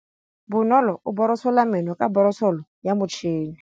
Bonolô o borosola meno ka borosolo ya motšhine.